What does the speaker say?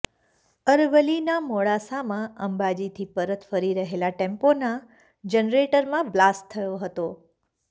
અરવલ્લીના મોડાસામાં અંબાજીથી પરત ફરી રહેલા ટેમ્પોના જનરેટરમાં બ્લાસ્ટ થયો હતો